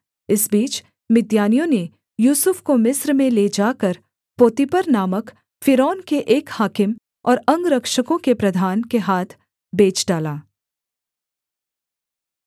इस बीच मिद्यानियों ने यूसुफ को मिस्र में ले जाकर पोतीपर नामक फ़िरौन के एक हाकिम और अंगरक्षकों के प्रधान के हाथ बेच डाला